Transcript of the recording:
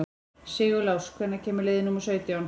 Sigurlás, hvenær kemur leið númer sautján?